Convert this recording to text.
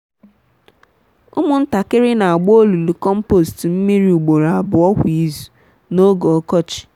ụmụntakịrị n’agba olulu kompost mmiri ugboro abụọ kwa izu n'oge ọkọchị.